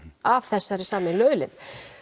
af þessari sameiginlegu auðlind